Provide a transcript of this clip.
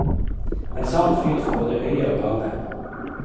En sann fryd for både øye og gane.